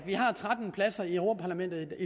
har tretten pladser i europa parlamentet